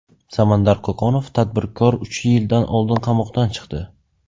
Samandar Qo‘qonov, tadbirkor, uch yil oldin qamoqdan chiqdi.